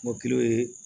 Kɔkili ye